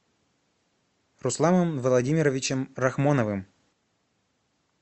русланом владимировичем рахмоновым